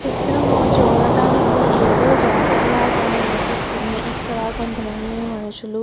చిత్రం చూడటానికి ఏదో జాతరలాగా అనిపిస్తుంది. ఇక్కడ కొంత మంది మనుషులు --